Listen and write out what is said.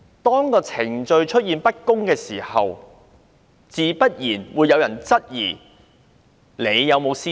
當程序不公，自然會有人質疑她是否有私心。